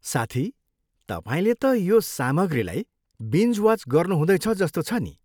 साथी, तपाईँले त यो सामग्रीलाई बिन्ज वाच गर्नुहुँदैछ जस्तो छ नि।